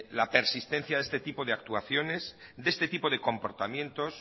la persistencia de este tipo de actuaciones de este tipo de comportamientos